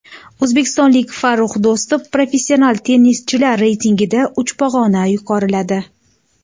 O‘zbekistonlik Farrux Do‘stov Professional tennischilar reytingida uch pog‘ona yuqoriladi.